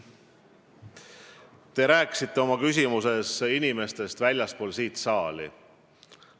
Te rääkisite ka inimestest väljaspool seda saali.